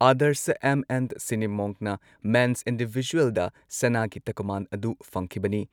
Adarsha M N ꯁꯤꯅꯤꯃꯣꯟꯅ men's ꯏꯟꯗꯤꯚꯤꯖꯨꯑꯦꯜꯗ ꯁꯅꯥꯒꯤ ꯇꯀꯃꯥꯟ ꯑꯗꯨ ꯐꯪꯈꯤꯕꯅꯤ ꯫